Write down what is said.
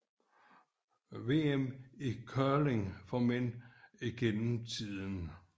VM i curling for mænd gennem tiden